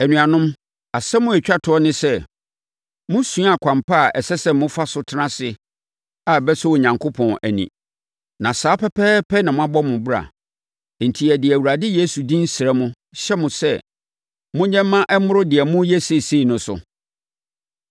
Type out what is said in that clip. Anuanom, asɛm a ɛtwa toɔ ne sɛ, mosuaa kwan pa a ɛsɛ sɛ mofa so tena ase a ɛbɛsɔ Onyankopɔn ani. Na saa pɛpɛɛpɛ na morebɔ mo bra. Enti, yɛde yɛn Awurade Yesu din srɛ, hyɛ mo sɛ, monyɛ mma ɛmmoro deɛ moreyɛ seesei no so.